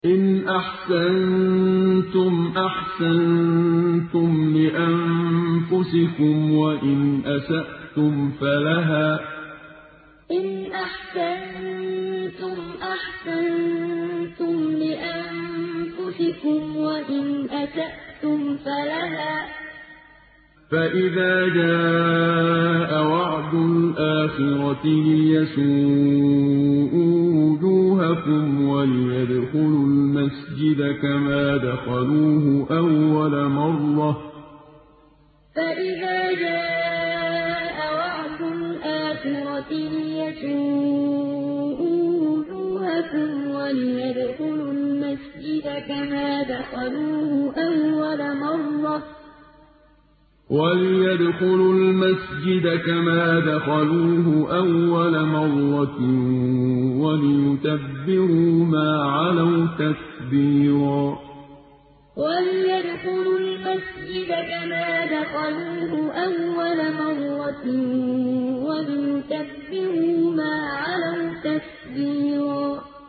إِنْ أَحْسَنتُمْ أَحْسَنتُمْ لِأَنفُسِكُمْ ۖ وَإِنْ أَسَأْتُمْ فَلَهَا ۚ فَإِذَا جَاءَ وَعْدُ الْآخِرَةِ لِيَسُوءُوا وُجُوهَكُمْ وَلِيَدْخُلُوا الْمَسْجِدَ كَمَا دَخَلُوهُ أَوَّلَ مَرَّةٍ وَلِيُتَبِّرُوا مَا عَلَوْا تَتْبِيرًا إِنْ أَحْسَنتُمْ أَحْسَنتُمْ لِأَنفُسِكُمْ ۖ وَإِنْ أَسَأْتُمْ فَلَهَا ۚ فَإِذَا جَاءَ وَعْدُ الْآخِرَةِ لِيَسُوءُوا وُجُوهَكُمْ وَلِيَدْخُلُوا الْمَسْجِدَ كَمَا دَخَلُوهُ أَوَّلَ مَرَّةٍ وَلِيُتَبِّرُوا مَا عَلَوْا تَتْبِيرًا